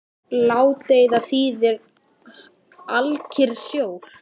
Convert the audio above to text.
Ládeyða þýðir alkyrr sjór.